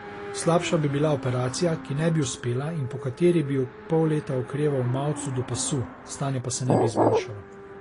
Slabša bi bila operacija, ki ne bi uspela in pokateri bi pol leta okreval v mavcu do pasu, stanje pa se ne bi izboljšalo.